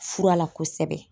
Fura la kosɛbɛ